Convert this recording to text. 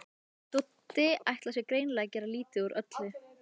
Doddi ætlar sér greinilega að gera lítið úr öllu.